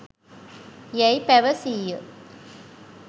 යැයි පැවසීය.